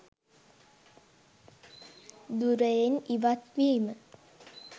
ධුරයෙන් ඉවත් වීම